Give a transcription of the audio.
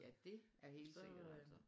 Ja det er helt sikkert altså